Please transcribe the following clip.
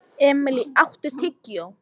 Emilý, áttu tyggjó?